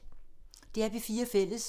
DR P4 Fælles